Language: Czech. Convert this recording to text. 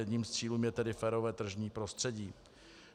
Jedním z cílů je tedy férové tržní prostředí.